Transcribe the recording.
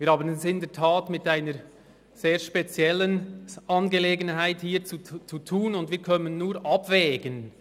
Wir haben es hier in der Tat mit einer sehr speziellen Angelegenheit zu tun, und wir können nur abwägen.